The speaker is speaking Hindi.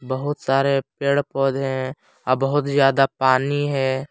बहुत सारे पेड़ पौधे हैं अ बहुत ज्यादा पानी है।